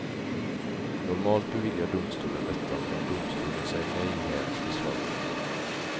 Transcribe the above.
Normalt beviljar domstolen detta, men om domstolen säger nej hävs beslaget.